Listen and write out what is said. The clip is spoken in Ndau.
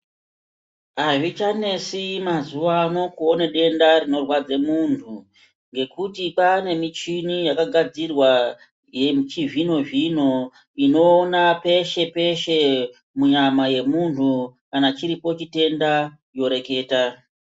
Hazvichanetsi mazuwaano kuwone denda rinorwadze muntu, ngekuti kwanemuchini yakagadzirwa yemuchizvino zvino, inowona peshe peshe munyama yemuntu, kana chiripo chitenda yoreketa.